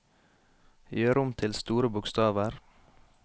Gjør om til store bokstaver